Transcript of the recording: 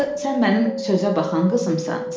Axı sən mənim sözə baxan qızımsan.